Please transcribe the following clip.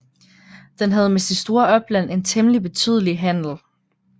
Den havde med sit store opland en temmelig betydelig handel